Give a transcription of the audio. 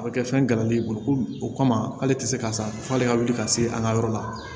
A bɛ kɛ fɛn galadi bolo ko o kama k'ale tɛ se k'a sa f'ale ka wuli ka se an ka yɔrɔ la